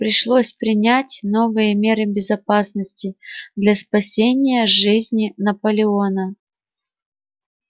пришлось принять новые меры безопасности для спасения жизни наполеона